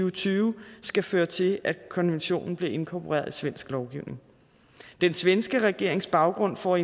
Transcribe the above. og tyve skal føre til at konventionen bliver inkorporeret i svensk lovgivning den svenske regerings baggrund for